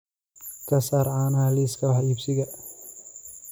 ka saar caanaha liiska wax iibsiga